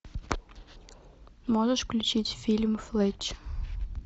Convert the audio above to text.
можешь включить фильм флетч